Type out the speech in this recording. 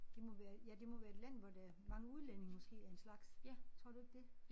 Det må være ja det må være et land hvor der mange udlændinge måske af en slags. Tror du ikke det?